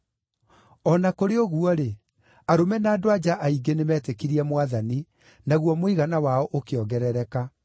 O na kũrĩ ũguo-rĩ, arũme na andũ-a-nja aingĩ nĩmetĩkirie Mwathani, naguo mũigana wao ũkĩongerereka.